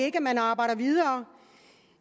ikke at man arbejder videre